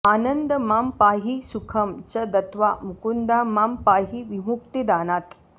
आनन्द मां पाहि सुखं च दत्त्वा मुकुन्दा मां पाहि विमुक्तिदानात्